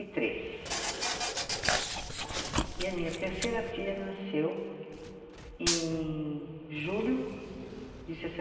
e três. E a minha terceira filha nasceu em julho de